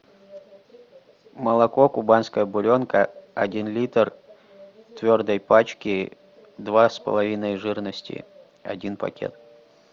молоко кубанская буренка один литр в твердой пачке два с половиной жирности один пакет